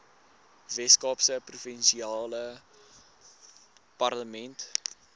weskaapse provinsiale parlement